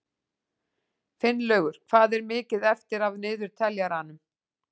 Finnlaugur, hvað er mikið eftir af niðurteljaranum?